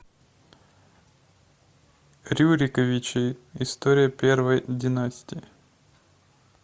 рюриковичи история первой династии